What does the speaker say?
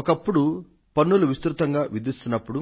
ఒకప్పుడు పన్నులు విస్తృతంగా విధిస్తున్నప్పుడు